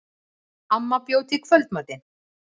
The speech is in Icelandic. Amma bjó til kvöldmatinn.